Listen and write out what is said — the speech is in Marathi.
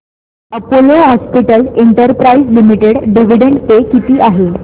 Apollo hospitals enterprises limited dividend pay किती आहे